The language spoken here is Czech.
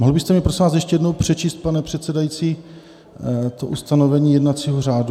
Mohl byste mi, prosím vás, ještě jednou přečíst, pane předsedající, to ustanovení jednacího řádu?